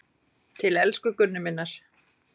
Til elsku Gunnu minnar.